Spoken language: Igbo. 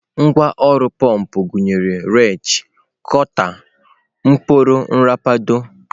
Ngwá ọrụ pọmpụ gụnyere wrenchi, kota, ọkpọrọ nrapado.